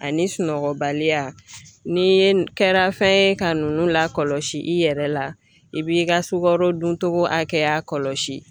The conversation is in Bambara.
Ani sunɔgɔbaliya ni ye kɛra fɛn ye ka nunnu lakɔlɔsi i yɛrɛ la, i b'i ka sukaro duntogo hakɛya kɔlɔsi.